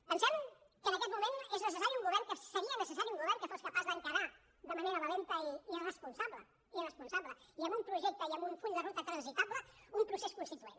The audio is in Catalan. pensem que en aquest moment és necessari un govern seria necessari un govern que fos capaç d’encarar de manera valenta i responsable i responsable i amb un projecte i amb full de ruta transitable un procés constituent